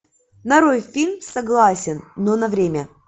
нарой фильм согласен но на время